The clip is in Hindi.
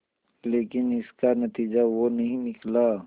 लेकिन इसका नतीजा वो नहीं निकला